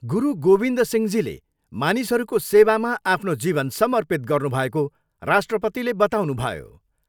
गुरू गोविन्द सिंहजीले मानिसहरूमा सेवामा आफ्नो जीवन समर्पित गर्नुभएको राष्ट्रपतिले बताउनुभयो।